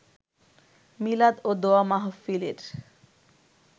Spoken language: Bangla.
মিলাদ ও দোয়া মাহফিলের